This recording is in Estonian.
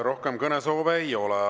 Rohkem kõnesoove ei ole.